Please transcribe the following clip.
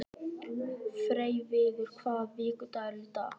Freyviður, hvaða vikudagur er í dag?